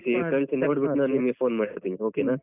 ನೀವ್ ಕಳ್ಸಿ ಕಳ್ಸಿ ನೋಡ್ಬಿಟ್ಟು ನಾನ್ ನಿಮ್ಗೆ phone ಮಾಡ್ತೀನಿ okay ನ.